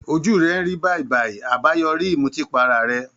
Ojú rẹ̀ ń rí bàìbàì, àbáyoríi ìmutípara rẹ̀